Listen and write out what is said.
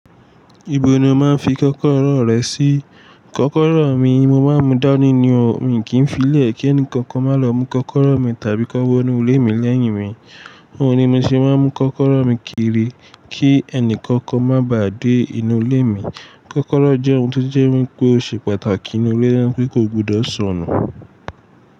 Ibo ni o máa ń fi kọ́kọ́rọ́ rẹ sí? Kọ́kọ́rọ́ mi, mo máa ń mú dání ni o, mi kì í fii lẹ̀ kí ẹnìkankan máa lọ mú kọ́kọ́rọ́ mi tàbí kó wọnú ilé mi lẹ́yìn mi. Óun ni mo se máa ń mú kọ́kọ́rọ́ mi kiri kí ẹnì kankan má ba à dé inú ilé mi. Kọ́kọ́rọ́ jẹ́ ohun tó jẹ́ wípé ó ṣe pàtàkì nínú ilé, ti kí kò gbudọ̀ sọnù.